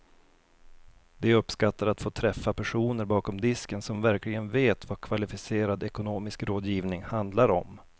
De uppskattar att få träffa personer bakom disken som verkligen vet vad kvalificerad ekonomisk rådgivning handlar om.